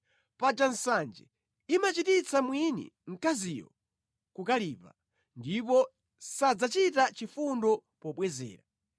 Paja nsanje imachititsa mwini mkaziyo kukalipa, ndipo sadzachita chifundo pobwezera.